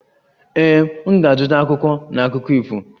Ee, m ga-azụta akwụkwọ na akụkọ ifo